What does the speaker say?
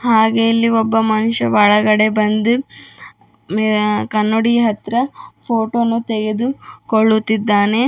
ಹಾಗೆ ಇಲ್ಲಿ ಒಬ್ಬ ಮನುಷ್ಯ ಒಳಗಡೆ ಬಂದು ಮೆ ಕನ್ನಡಿ ಹತ್ರ ಫೋಟೋ ನು ತೆಗೆದು ಕೊಳ್ಳುತ್ತಿದ್ದಾನೆ.